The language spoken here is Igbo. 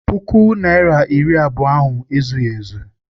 Puku naịra na iri abụọ ahụ ezughị ezu.